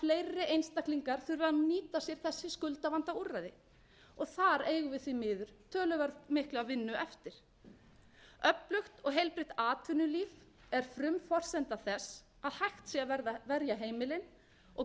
skuldavandaúrræði þar eigum við því miður töluvert mikla vinnu eftir öflugt og heilbrigt atvinnulíf er frumforsenda þess að hægt sé að verja heimilin og